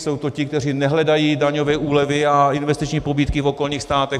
Jsou to ti, kteří nehledají daňové úlevy a investiční pobídky v okolních státech.